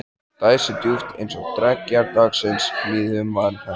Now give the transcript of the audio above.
Dæsir djúpt- eins og dreggjar dagsins líði um varir hennar.